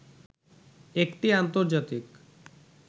একটি আন্তর্জাতিক